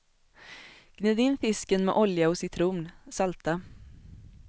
Gnid in fisken med olja och citron, salta.